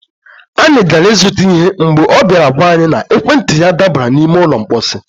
anyị gara ịzụta ihe mgbe ọ bịara gwa anyị na ekwentị ya dabara n'ime ụlọ mkposi.